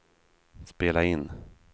spela in